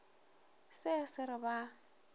se se re ba a